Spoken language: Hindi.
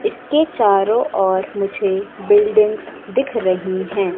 इसके चारों ओर मुझे बिल्डिंग्स दिख रही हैं।